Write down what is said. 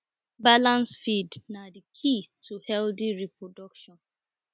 balanced feed na key to healthy reproduction